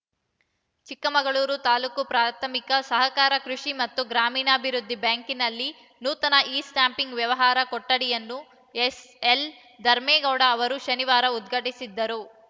ಚಿಕ್ಕಮಗಳೂರು ತಾಲೂಕು ಪ್ರಾಥಮಿಕ ಸಹಕಾರ ಕೃಷಿ ಮತ್ತು ಗ್ರಾಮೀಣಾಭಿವೃದ್ಧಿ ಬ್ಯಾಂಕ್‌ನಲ್ಲಿ ನೂತನ ಇಸ್ಟ್ಯಾಂಪಿಂಗ್‌ ವ್ಯವಹಾರ ಕೊಠಡಿಯನ್ನು ಎಸ್‌ಎಲ್‌ ಧರ್ಮೇಗೌಡ ಅವರು ಶನಿವಾರ ಉದ್ಘಾಟಿಸಿದರು